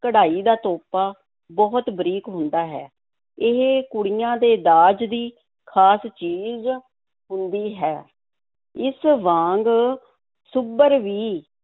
ਕਢਾਈ ਦਾ ਤੋਪਾ ਬਹੁਤ ਬਰੀਕ ਹੁੰਦਾ ਹੈ, ਇਹ ਕੁੜੀਆਂ ਦੇ ਦਾਜ ਦੀ ਖ਼ਾਸ ਚੀਜ਼ ਹੁੰਦੀ ਹੈ, ਇਸ ਵਾਂਗ ਸੁੱਭਰ ਵੀ